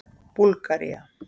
Búlgaría